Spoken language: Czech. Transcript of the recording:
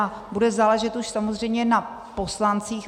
A bude záležet už samozřejmě na poslancích.